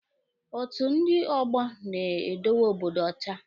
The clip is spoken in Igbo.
Otu ndị ọgbọ na-edowe Obodo ọcha.